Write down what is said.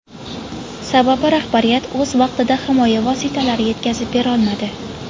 Sababi rahbariyat o‘z vaqtida himoya vositalarini yetkazib berolmadi.